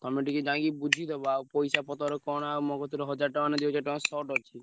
ତମେ ଟିକେ ଯାଇ ବୁଝିଦବ ଆଉ ପଇସା ପତ୍ର କଣ ଆଉ ମୋ କତିରେ ହଜାର ଟଙ୍କା ଦି ହଜାର ଟଙ୍କା short ଅଛି।